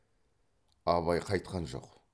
абай қайтқан жоқ